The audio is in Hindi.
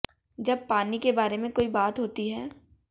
जब पानी के बारे में कोई बात होती है